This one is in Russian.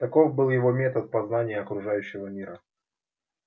таков был его метод познания окружающего мира